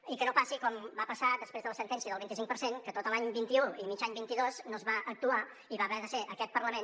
i que no passi com va passar després de la sentència del vint i cinc per cent que tot l’any vint un i mig any vint dos no es va actuar i va haver de ser aquest parlament